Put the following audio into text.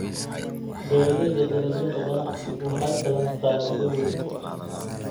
Beeralayda dalagyada ganacsigu waxay helaan faa'iido weyn